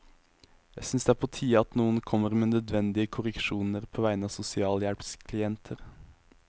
Jeg synes det er på tide at noen kommer med nødvendige korreksjoner på vegne av sosialhjelpsklienter.